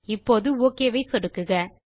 இப்போது okay button ஐ சொடுக்கவும்